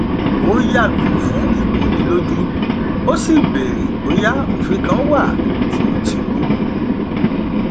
ó yàgò fún ìkonilójú ó sì bèrè bóyá òfin kan wà tí ó ti rú